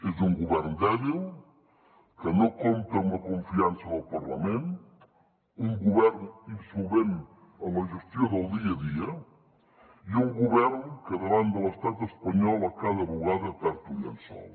és un govern dèbil que no compta amb la confiança del parlament un govern insolvent en la gestió del dia a dia i un govern que davant de l’estat espanyol a cada bugada perd un llençol